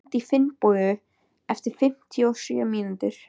Gurrí, hringdu í Finnbogu eftir fimmtíu og sjö mínútur.